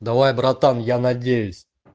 давай братан я надеюсь